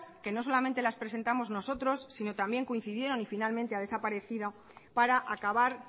que no solamente las presentamos nosotros sino también coincidieron y finalmente han desaparecido para acabar